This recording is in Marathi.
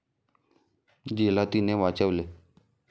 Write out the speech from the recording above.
जिला तिने वाचवले.